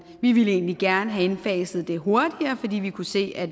vi ville egentlig gerne have indfaset det hurtigere fordi vi kunne se at